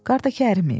Qarda əriməyib.